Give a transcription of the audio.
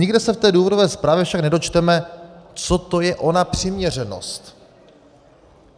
Nikde se v té důvodové zprávě však nedočteme, co to je ona přiměřenost.